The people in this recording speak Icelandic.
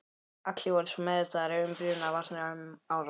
Allir voru svo meðvitaðir um brunavarnir um áramótin.